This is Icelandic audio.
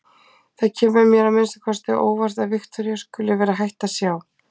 Það kemur mér að minnsta kosti á óvart að Viktoría skuli vera hætt að sjá.